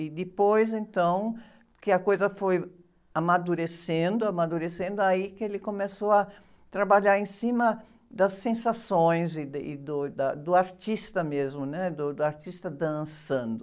E depois, então, que a coisa foi amadurecendo, amadurecendo, aí que ele começou a trabalhar em cima das sensações e da, e do, e da, do artista mesmo, né? Do, do artista dançando.